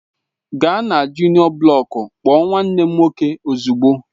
Gaa na juniọ blọku kpọọ nwanne m nwoke ozugbo!